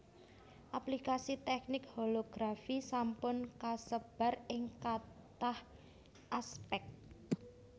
Aplikasi teknik holografi sampun kasebar ing kathah aspèk